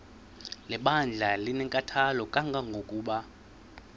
lebandla linenkathalo kangangokuba